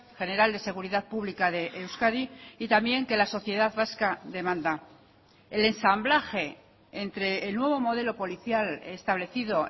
general de seguridad pública de euskadi y también que la sociedad vasca demanda el ensamblaje entre el nuevo modelo policial establecido